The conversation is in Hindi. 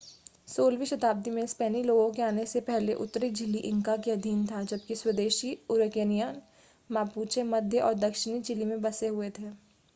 16 वीं शताब्दी में स्पेनी लोगों के आने से पहले उत्तरी चिली इंका के अधीन था जबकि स्वदेशी अरुकेनियन मापुचे मध्य और दक्षिणी चिली में बसे हुए थे।